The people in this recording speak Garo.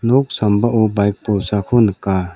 nok sambao baik bolsako nika.